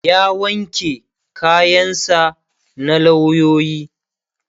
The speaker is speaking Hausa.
ya wanke kayan sa na lauyoyi